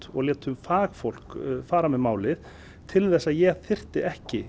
og létum fagfólk fara með málið til þess að ég þyrfti ekki